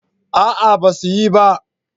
A'a ba su yi ba